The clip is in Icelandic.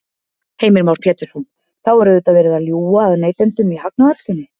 Heimir Már Pétursson: Þá er auðvitað verið að ljúga að neytendum í hagnaðarskyni?